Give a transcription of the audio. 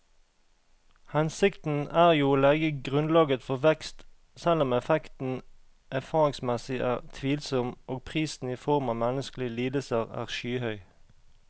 Hensikten er jo å legge grunnlaget for vekst, selv om effekten erfaringsmessig er tvilsom og prisen i form av menneskelige lidelser er skyhøy.